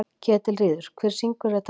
Ketilríður, hver syngur þetta lag?